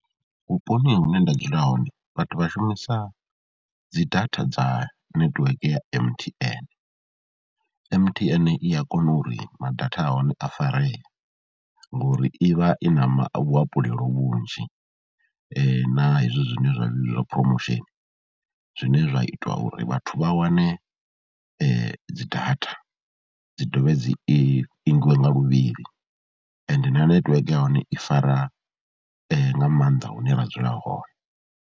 Vhuponi hune nda dzula hone vhathu vha shumisa dzi data dza netiweke ya M_T_N, M_T_N i a kona uri ma data a hone a faree ngori i vha i na ma luhafhulelo vhunzhi na hezwo zwine zwa vhidzwa promotion, zwine zwa ita uri vhathu vha wane dzi data dzi dovhe dzi ingwe nga luvhili ende na netiweke ya hone i fara nga maanḓa hune ra dzula hone.